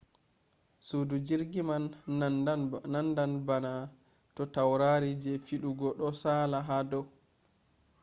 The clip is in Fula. sudu jirgi man nandan bana to taurari je fidugo do sala ha do